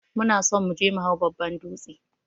Muna son muje me hau babban dūtse.